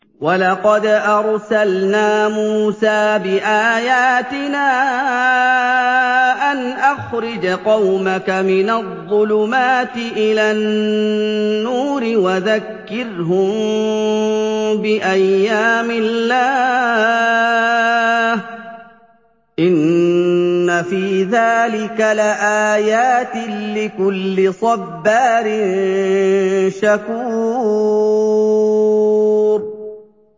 وَلَقَدْ أَرْسَلْنَا مُوسَىٰ بِآيَاتِنَا أَنْ أَخْرِجْ قَوْمَكَ مِنَ الظُّلُمَاتِ إِلَى النُّورِ وَذَكِّرْهُم بِأَيَّامِ اللَّهِ ۚ إِنَّ فِي ذَٰلِكَ لَآيَاتٍ لِّكُلِّ صَبَّارٍ شَكُورٍ